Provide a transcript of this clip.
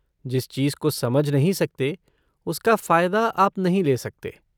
जिस चीज़ को समझ नहीं सकते, उसका फ़ायदा आप नहीं ले सकते।